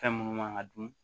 Fɛn minnu man ka dun